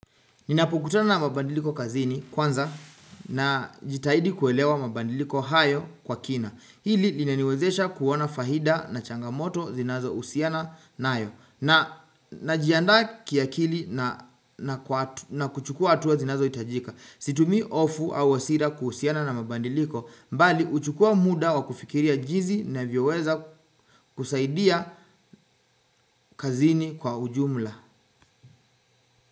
Ninapokutana na mabadiliko kazini kwanza, na jitahidi kuelewa mabadiliko hayo kwa kina. Hhn Hili linaniwezesha kuona fahida na changamoto zinazo usiana nayo. Na jianda kiakili na na kuchukua atuwa zinazo itajika. Situmii ofu au asira kuhusiana na mabadiliko mbali uchukua muda wa kufikiria jizi na vyoweza kusaidia kazini kwa ujumla.